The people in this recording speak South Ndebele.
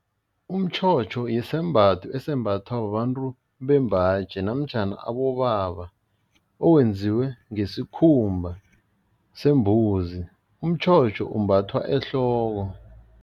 Umtjhotjho yisembatho esembathwa babantu bembaji namtjhana abobaba, owenziwe ngesikhumba sembuzi, umtjhotjho umbathwa ehloko.